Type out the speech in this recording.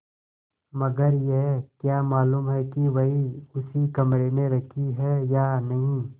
मगर यह क्या मालूम कि वही उसी कमरे में रखी है या नहीं